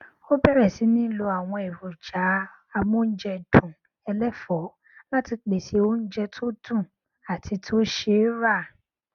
ó bẹrẹ sì ní lo àwọn èròjà amóúnjẹdùn ẹlẹfọọ láti pèsè oúnjẹ tó dùn àti tó ṣe é rà